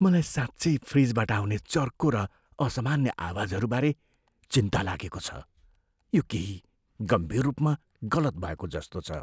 मलाई साँच्चै फ्रिजबाट आउने चर्को र असामान्य आवाजहरू बारे चिन्ता लागेको छ, यो केही गम्भीर रूपमा गलत भएको जस्तो छ।